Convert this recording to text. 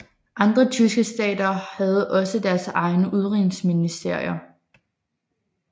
Andre tyske stater havde også deres egne udenrigsministerier